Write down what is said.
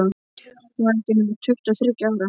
Hún var ekki nema tuttugu og þriggja ára.